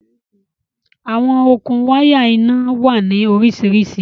Awọn okun wàya iná wà ní oríṣiríṣí